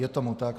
Je tomu tak.